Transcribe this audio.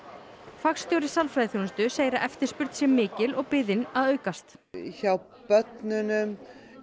fagstjóri sálfræðiþjónustu segir að eftirspurn sé mikil og biðin að aukast hjá börnunum